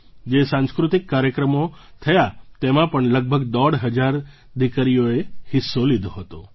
જે સાંસ્કૃતિક કાર્યક્રમો થયા તેમાં પણ લગભગ દોઢ હજાર દીકરીઓએ હિસ્સો લીધો હતો